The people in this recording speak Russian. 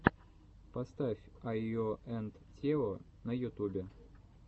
поставь айо энд тео на ютубе